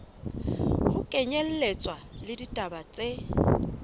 ho kenyelletswa le ditaba tse